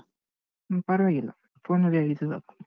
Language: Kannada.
ಹು ಪರ್ವಾಗಿಲ್ಲ. phone ಅಲ್ಲೇ ಹೇಳಿದ್ರೆ ಸಾಕು.